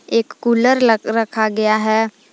एक कूलर लग रखा गया है।